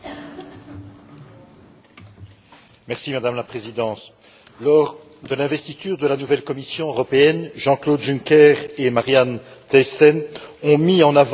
Madame la Présidente, lors de l'investiture de la nouvelle Commission européenne, Jean Claude Juncker et Marianne Thyssen ont mis en avant le rôle déterminant du dialogue social.